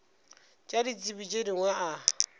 tša ditsebi tše dingwe a